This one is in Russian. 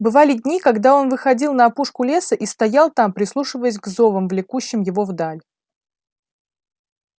бывали дни когда он выходил на опушку леса и стоял там прислушиваясь к зовам влекущим его вдаль